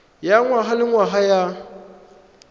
ya ngwaga le ngwaga ya